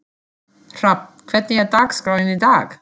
Hrafn, hvernig er dagskráin í dag?